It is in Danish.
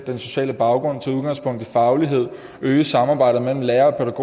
den sociale baggrund og tage udgangspunkt i faglighed at øge samarbejdet mellem lærere og